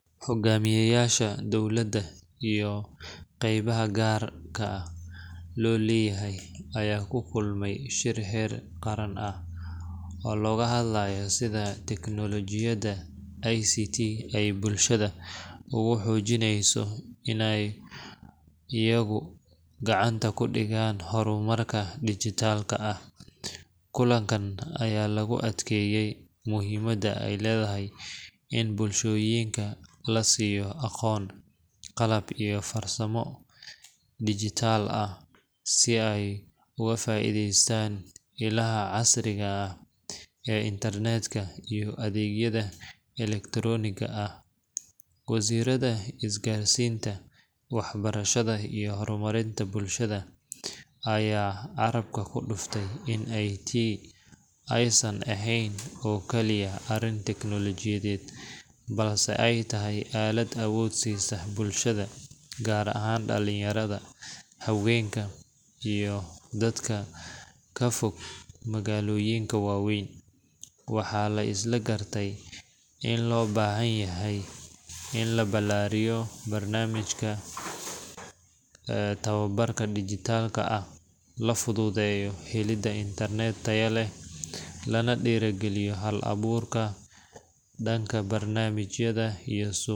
Hoggaamiyeyaasha dowladda iyo qaybaha gaarka loo leeyahay ayaa ku kulmay shir heer qaran ah oo looga hadlayay sida tiknoolajiyada ICT ay bulshada ugu xoojinayso inay iyagu gacanta ku dhigaan horumarka dijitaalka ah. Kulankan ayaa lagu adkeeyay muhiimadda ay leedahay in bulshooyinka la siiyo aqoon, qalab, iyo fursado dhijitaal ah si ay uga faa’iideystaan ilaha casriga ah ee internet-ka iyo adeegyada elektaroonigga ah. Wasiirrada isgaarsiinta, waxbarashada, iyo horumarinta bulshada ayaa carabka ku dhuftay in ICT aysan ahayn oo kaliya arrin tiknoolajiyeed, balse ay tahay aalad awood siisa bulshada – gaar ahaan dhalinyarada, haweenka, iyo dadka ka fog magaalooyinka waaweyn. Waxaa la isla gartay in loo baahan yahay in la ballaariyo barnaamijyada tababarka dhijitaalka ah, la fududeeyo helidda internet tayo leh, lana dhiirrigeliyo hal-abuurka dhanka barnaamijyada iyo suuqyada.